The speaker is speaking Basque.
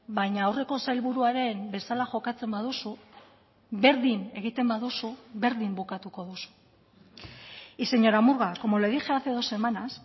baina aurreko sailburuaren bezala jokatzen baduzu berdin egiten baduzu berdin bukatuko duzu y señora murga como le dije hace dos semanas